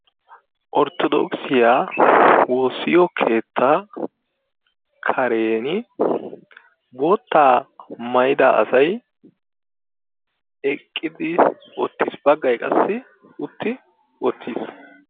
Ortodookissiyaa woossiyoo keettaa karen boottaa maayida asay eqqidi uttiis baggay qassi utti wottiis.